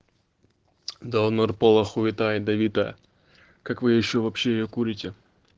долмер поло хуита да не та как вы ещё вообще её курите